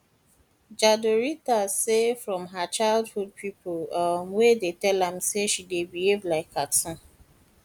jadrolita say from her childhood pipo um dey tell am say she dey behave like cartoon